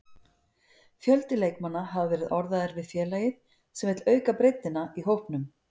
Fjöldi leikmanna hafa verið orðaðir við félagið sem vill auka breiddina í hópnum.